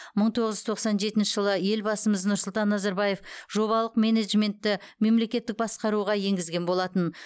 мың тоғыз жұз тоқсан жетінші жылы елбасымыз нұрсұлтан назарбаев жобалық менеджментті мемлекеттік басқаруға енгізген болатын